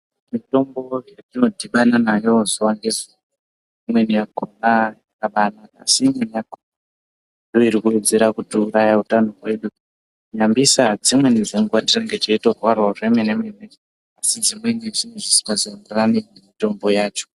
Mitombo yetinodhibana nayo zuwa ngezuwa yakabanaka asi imweni ndoiri kuwedzera kutiuraya utano hwedu. Nyambisa dzimweni dzenguwa tinenge teitorwarawo zvemene mene asi zvimweni zvinenge zvisingazoenderani nemitombo yacho.